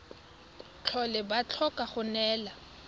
tlhole ba tlhoka go neelana